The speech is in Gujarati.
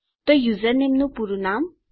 તો યુઝરનું પૂરું નામ